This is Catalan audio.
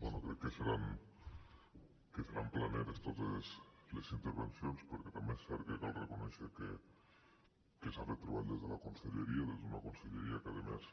bé crec que seran planeres totes les intervencions perquè també és cert que cal reconèixer que s’ha fet treball des de la conselleria des d’una conselleria que a més